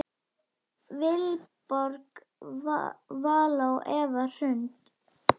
Vilborg Vala og Eva Hrund.